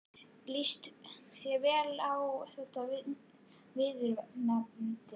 Líst þér vel á þetta viðurnefni?